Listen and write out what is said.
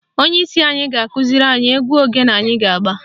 Onyeisi anyị ga-akụziri anyị egwu ogene anyị ga-agba